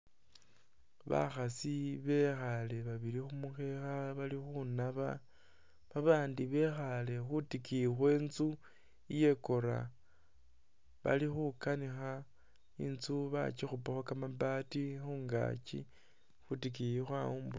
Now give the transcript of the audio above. Bakhasi bekhaale babili khu mukheekha bali khunaba, babandi bekhaale khwitikiyi khwe inzu iyakora bali khukanikha. Inzu bakikhupakho kamabati khungaki, khwitikiyi khwawumbukhaka.